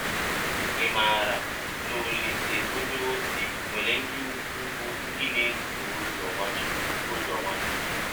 Ị̀ maara na Ọlise onyeọzi nwere ndị ikwụ bụ́ ndị na - esọ ụzọ Nwachụkwụ? ụzọ Nwachụkwụ?